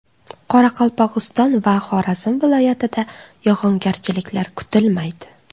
Qoraqalpog‘iston va Xorazm viloyatida yog‘ingarchiliklar kutilmaydi.